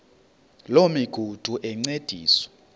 loo migudu encediswa